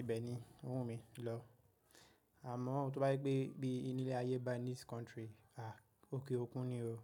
Ibẹ̀ ni owunmj lọ. Àmọ́ tí wọ́n bá pé pé ní ilé ayé, ba ní this country, òkè òkun ni o.